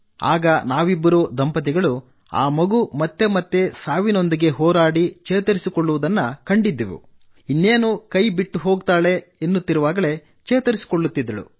ಆಗ ನಾವಿಬ್ಬರೂ ದಂಪತಿಗಳು ಆ ಮಗು ಮತ್ತೆ ಮತ್ತೆ ಸಾವಿನೊಂದಿಗೆ ಹೋರಾಡಿ ಚೇತರಿಸಿಕೊಳ್ಳುತ್ತಿರುವುದನ್ನು ನಾವು ಕಂಡಿದ್ದೆವು ಇನ್ನೇನು ಕೈಬಿಟ್ಟು ಹೋಗುತ್ತಾಳೆ ಎನ್ನುತ್ತಿರುವಾಗಲೇ ಚೇತರಿಸಿಕೊಳ್ಳುತ್ತಿದ್ದಳು